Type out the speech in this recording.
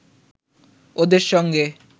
ওদের সঙ্গে